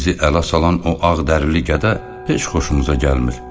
Bu gün bizi ələ salan o ağdərli gədə heç xoşumuza gəlmir.